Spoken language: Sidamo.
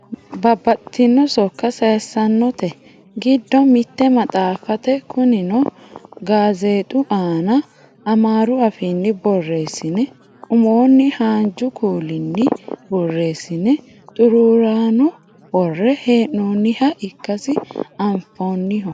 babbaxxitino sokka sayiissannote giddo mitte maxaafate kunino gazeexu aana amaaru afiinnni borreessine umoonni haanju kuuliinni borreessine xuruurano worre hee'noonniha ikkasi anfanniho